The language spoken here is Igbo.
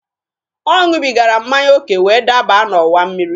Ọ ṅụbigara mmanya oke wee daba n'ọwa mmiri.